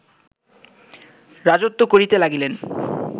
রাজত্ব করিতে লাগিলেন